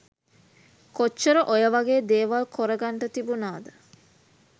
කොච්චර ඔය වගේ දේවල් කොර ගන්ට තිබුනාද.